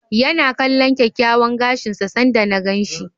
Ya na kalllon kyakkyawan gashin sa sanda na gan shi.